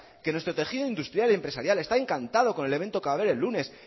que nuestro tejido industrial y empresarial está encantado con el evento que va a haber el lunes